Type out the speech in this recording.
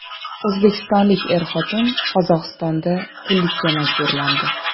O‘zbekistonlik er-xotin Qozog‘istonda qullikka majburlandi .